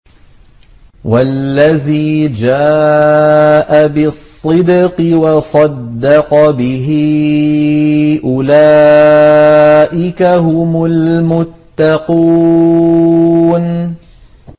وَالَّذِي جَاءَ بِالصِّدْقِ وَصَدَّقَ بِهِ ۙ أُولَٰئِكَ هُمُ الْمُتَّقُونَ